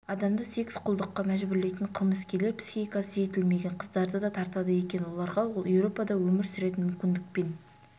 адамды секс-құлдыққа мәжбүрлейтін қылмыскерлер психикасы жетілмеген қыздарды да тартады екен оларға еуропада өмір сүретін мүмкіндік пен